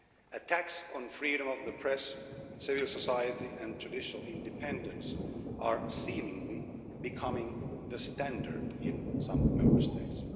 Attacks on freedom of the press, civil society and judicial independence are seemingly becoming the standard in some Member States.